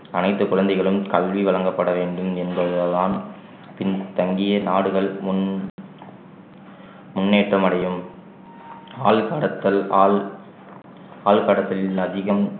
அனைத்து குழந்தைகளும கல்வி வழங்கப்பட வேண்டும் என்பதுதான் பின் தங்கிய நாடுகள் முன்~ முன்னேற்றம் அடையும் ஆள்கடத்தல் ஆள்~ ஆள்கடத்தலில் அதிகம்